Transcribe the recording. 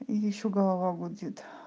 ещё голова гудит